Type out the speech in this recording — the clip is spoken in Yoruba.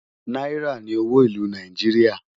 náírà ní owó ìlú Nàìjíríà